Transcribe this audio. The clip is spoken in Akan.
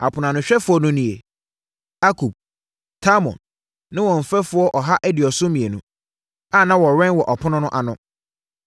Aponoanohwɛfoɔ no nie: Akub, Talmon ne wɔn mfɛfoɔ ɔha aduɔson mmienu (172) a na wɔwɛn wɔ apono no ano.